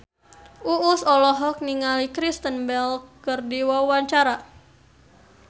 Uus olohok ningali Kristen Bell keur diwawancara